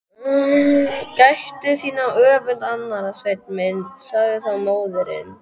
Gættu þín á öfund annarra, Sveinn minn, sagði þá móðirin.